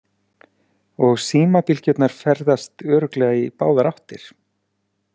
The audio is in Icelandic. Og símabylgjurnar ferðast örugglega í báðar áttir.